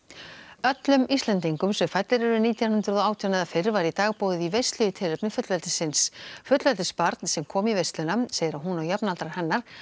öllum Íslendingum sem fæddir eru nítján hundruð og átján eða fyrr var í dag boðið í veislu í tilefni fullveldisins fullveldisins fullveldisbarn sem kom í veisluna segir að hún og jafnaldrar hennar